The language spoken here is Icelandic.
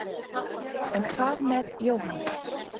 en hvað með jóhannes